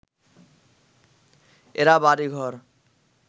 এরা বাড়িঘর